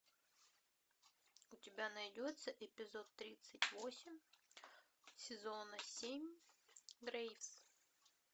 у тебя найдется эпизод тридцать восемь сезон семь грейс